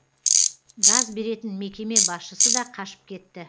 газ беретін мекеме басшысы да қашып кетті